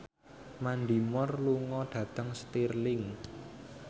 Mandy Moore lunga dhateng Stirling